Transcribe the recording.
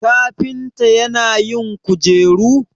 kafinta yana yin kujeru?